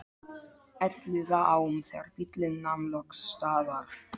Elliðaám þegar bíllinn nam loks staðar.